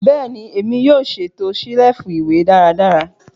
Bẹẹni, Emi yoo ṣeto selifu iwe daradara